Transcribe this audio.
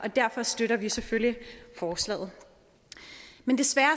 derfor støtter vi selvfølgelig forslaget men desværre